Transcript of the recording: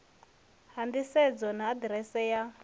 ha nḓisedzo na aḓirese ya